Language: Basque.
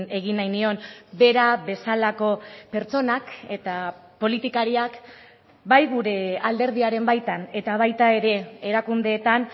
egin nahi nion bera bezalako pertsonak eta politikariak bai gure alderdiaren baitan eta baita ere erakundeetan